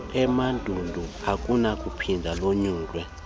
emandundu alinakuphinda lonyulwe